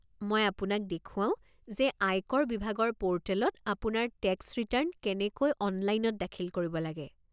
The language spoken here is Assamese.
মই আপোনাক দেখুৱাও যে আয়কৰ বিভাগৰ পৰ্টেলত আপোনাৰ টেক্স ৰিটাৰ্ণ কেনেকৈ অনলাইনত দাখিল কৰিব লাগে।